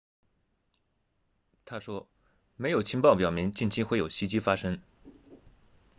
她说没有情报表明近期会有袭击发生